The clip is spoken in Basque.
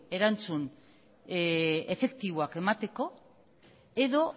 erantzun efektiboak emateko edo